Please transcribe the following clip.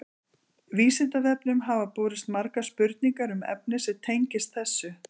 Vísindavefnum hafa borist margar spurningar um efni sem tengist þessu.